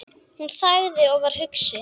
Hún þagði og var hugsi.